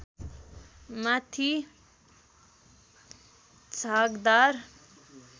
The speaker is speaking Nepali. माथि झागदार